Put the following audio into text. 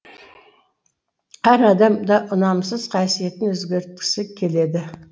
әр адам да ұнамсыз қасиетін өзгерткісі келеді